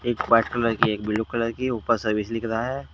एक white colour की है एक ब्लू कलर की है ऊपर सर्विस लिखा रहा है।